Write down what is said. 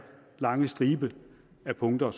lange stribe af punkter